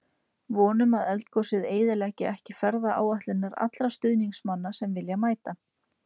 Vonum að eldgosið eyðileggi ekki ferðaáætlanir allra stuðningsmanna sem vilja mæta.